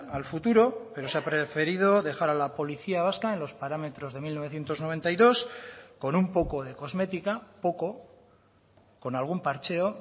al futuro pero se ha preferido dejar a la policía vasca en los parámetros de mil novecientos noventa y dos con un poco de cosmética poco con algún parcheo